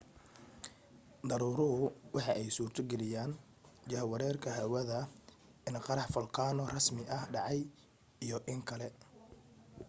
daruuruhu waxa ay suurto geliyen jahwareerka hawada in qarax folkaano rasmi ah dhacay iyo in kale